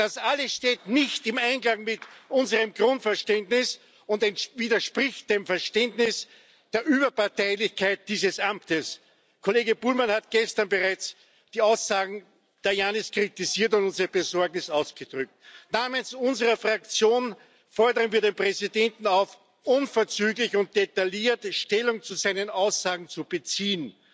Das alles steht nicht im Einklang mit unserem Grundverständnis und widerspricht dem Verständnis der Überparteilichkeit dieses Amtes. Kollege Bullmann hat gestern bereits die Aussagen Tajanis kritisiert und unsere Besorgnis ausgedrückt. Namens unserer Fraktion fordern wir den Präsidenten auf, unverzüglich und detailliert Stellung zu seinen Aussagen zu beziehen,